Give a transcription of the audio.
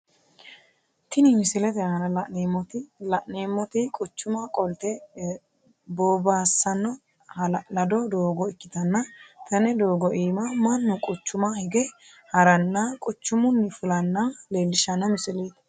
Tinni misilete aanna la'neemoti la'neemoti quchuma qolte bobaassano ha'lalado doogo ikitanna tene doogo iima Manu quchuma higa harananna quchumunni fulanna leelishano misileeti.